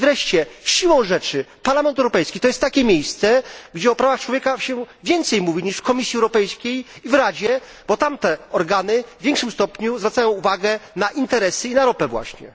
I wreszcie, siłą rzeczy Parlament Europejski jest takim miejscem, gdzie o prawach człowieka mówi się więcej niż w Komisji Europejskiej i w Radzie, bo tamte organy w większym stopniu zwracają uwagę na interesy i na ropę właśnie.